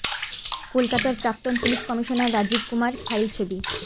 কলকাতার প্রাক্তন police commissioner Rajeev Kumar file ছবি